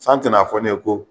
San tɛ n'a fɔ ne ye ko